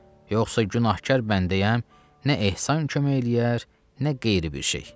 Yoxsa günahkar bəndəyəm, nə ehsan kömək eləyər, nə qeyri bir şey.